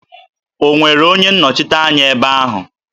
Ọ nwere onye nnọchiteanya ebe ahụ?